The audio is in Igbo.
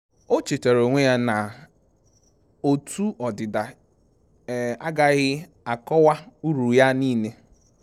O chetaara onwe ya na otu ọdịda agaghị akọwa uru ya niile.